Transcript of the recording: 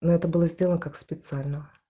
но это было сделано как специально